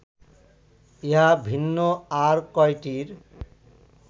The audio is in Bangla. ইহা ভিন্ন আর কয়টির